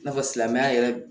I n'a fɔ silamɛya yɛrɛ